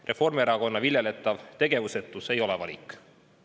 Reformierakonna viljeletav tegevusetus ei ole valik.